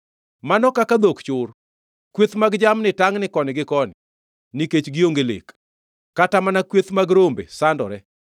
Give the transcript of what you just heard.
Mano kaka dhok chur! Kweth mag jamni tangni koni gi koni, nikech gionge lek; kata mana kweth mag rombe sandore.